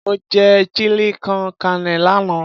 Mo jẹ Chili con carne lánàá.